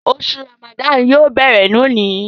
Oṣù Ràmàdánù yóò béèrè lóni